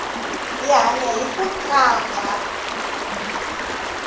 hi hanya hiku qambha